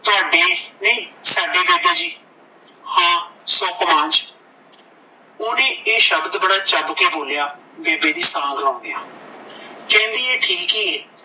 ਤੁਹਾਡੇ ਨਹੀਂ ਸਾਡੇ ਦਾਦਾ ਜੀ ਹਾਂ ਓਹਨੇ ਇਹ ਸ਼ਬਦ ਬੜਾ ਚੱਬ ਕੇ ਬੋਲਿਆ ਬੇਬੇ ਦੀ ਸਾਂਗ ਲਾਉਂਦਿਆਂ ਕਹਿੰਦੀ ਏ ਠੀਕ ਈ ਏ